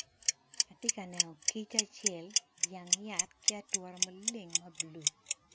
Atye ka neno kic acel i jang yat ki ature maleng